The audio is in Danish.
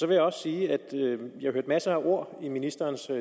jeg også sige at jeg hørte masser af ord i ministerens